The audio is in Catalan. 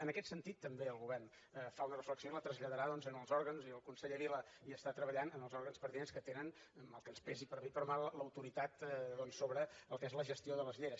en aquest sentit també el govern fa una reflexió i la traslladarà doncs als òrgans i el conseller vila hi està treballant pertinents que tenen mal que ens pesi per bé i per mal l’autoritat doncs sobre el que és la gestió de les lleres